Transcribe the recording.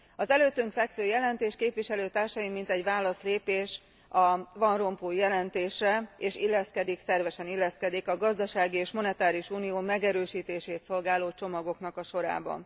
Az előttünk fekvő jelentés, képviselőtársaim, mintegy válaszlépés a van Rompuy jelentésre, és szervesen illeszkedik a gazdasági és monetáris unió megerősítését szolgáló csomagoknak a sorába.